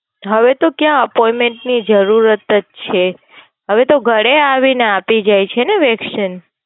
હવે તો કયા Oppayment ની જરૂરત જ છે? હવે તો ઘરે આવી ને આપી ને જાય છે ને Vaccine